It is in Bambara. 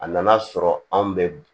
A nana sɔrɔ anw bɛ